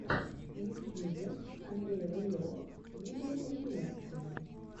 в ютьюбе андрей рылев видеокомпиляция